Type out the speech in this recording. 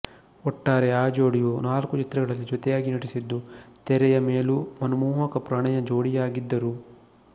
ಒಟ್ಟಾರೆ ಆ ಜೋಡಿಯು ನಾಲ್ಕು ಚಿತ್ರಗಳಲ್ಲಿ ಜೊತೆಯಾಗಿ ನಟಿಸಿದ್ದು ತೆರೆಯ ಮೇಲೂ ಮನಮೋಹಕ ಪ್ರಣಯ ಜೋಡಿಯಾಗಿದ್ದರು